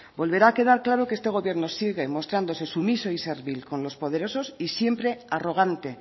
volverá a quedar claro que este gobierno sigue mostrándose sumiso y servil con lo poderoso y siempre arrogante